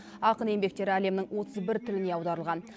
ақын еңбектері әлемнің отыз бір тіліне аударылған